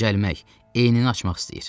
Dincəlmək, enini açmaq istəyir.